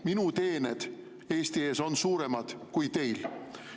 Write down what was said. Minu teened Eesti ees on suuremad kui teil.